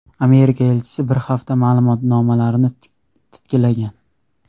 Amerika elchisi bir hafta ma’lumotnomalarni titkilagan.